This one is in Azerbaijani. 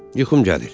Yuxum gəlir.